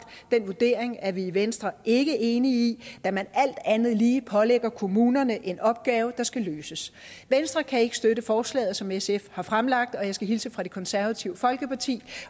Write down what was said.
den vurdering er vi i venstre ikke enig da man alt andet lige pålægger kommunerne en opgave der skal løses venstre kan ikke støtte forslaget som sf har fremlagt og jeg skal hilse fra det konservative folkeparti